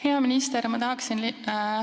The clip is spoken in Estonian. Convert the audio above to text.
Hea minister!